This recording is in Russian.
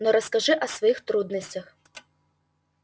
но расскажи о своих трудностях